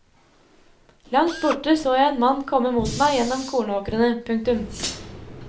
Langt borte så jeg en mann komme mot meg gjennom kornåkrene. punktum